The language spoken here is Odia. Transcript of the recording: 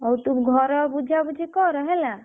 ଆଉ ତୁ ଘର ବୁଝାବୁଝି କର ହେଲା।